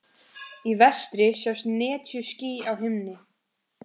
Í vestri sjást netjuský á himni.